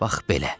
Bax belə!